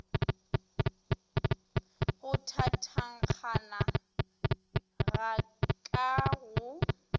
go thathankgana ga ka go